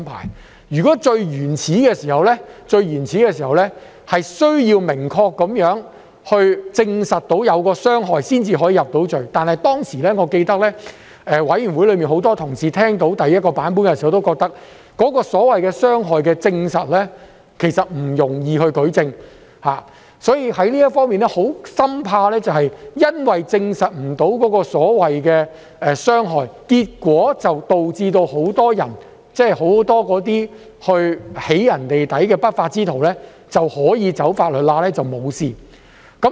《條例草案》最原始的版本要求明確證實"起底"行為對資料當事人或其家人造成傷害，才能夠將"起底"人入罪，而我記得，當時委員會內很多同事在聽到第一個版本時，都認為其所謂需證實的傷害，其實不容易舉證，所以，就這方面，大家深怕會因為無法證實所謂的傷害，結果導致很多進行"起底"的不法之徒可以走"法律罅"來脫罪。